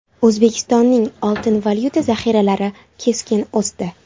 O‘zbekistonning oltin valyuta zaxiralari keskin o‘sdi.